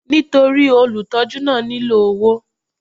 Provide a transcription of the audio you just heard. Nítorí olùtọ́jú náà nílò owó.